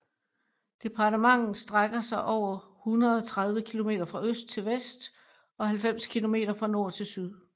Departementet strækker sig over 130 km fra øst til vest og 90 km fra nord til syd